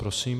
Prosím.